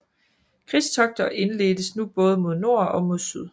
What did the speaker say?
Krigstogter indledtes nu både mod nord og mod syd